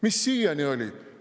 Mis siiani oli?